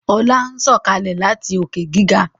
Ola ń Sọkalẹ láti Òkè-gíga